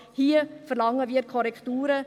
Hier verlangen wir Korrekturen.